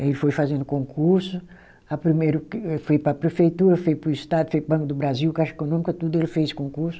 Ele foi fazendo concurso, a primeiro que foi para a prefeitura, foi para o estado, foi para o Banco do Brasil, Caixa Econômica, tudo ele fez concurso.